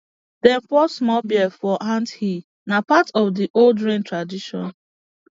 dem pour small beer for ant hill na part of the old rain tradition